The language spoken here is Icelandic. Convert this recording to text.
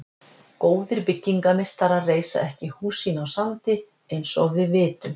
Góðir byggingarmeistarar reisa ekki hús sín á sandi, eins og við vitum.